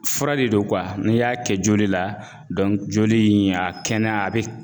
Fura de don , n'i y'a kɛ joli la joli in a kɛnɛya a bɛ